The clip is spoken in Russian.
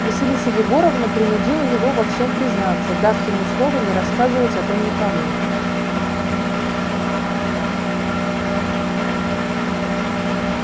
василиса егоровна принудила его во всем признаться дав ему слово не рассказывать о том никому